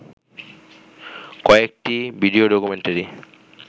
কয়েকটি video documentary